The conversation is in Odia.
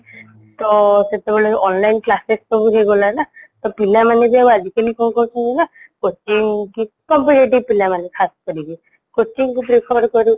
ତ ସେତବେଳେ online classes ସବୁ ହେଇଗଲାନା ତ ପିଲାମାନେ ଆଉ ଆଜିକଲି କ'ଣ କରୁଛନ୍ତି ନା coaching କି competitive ପିଲାମାନେ ଖାସ କରିକି coaching କୁ କରୁ